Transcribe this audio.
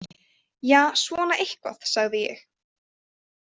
Ja, svona eitthvað, sagði ég.